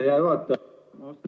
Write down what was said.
Aitäh, hea juhataja!